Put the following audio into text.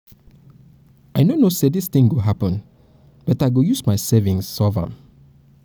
i no know say dis thing go happen but i go use my savings solve am